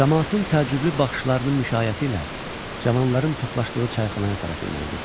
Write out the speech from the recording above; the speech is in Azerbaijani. Camaatın təəccüblü baxışlarının müşayiəti ilə cavanların toplaşdığı çayxanaya tərəf yönəldi.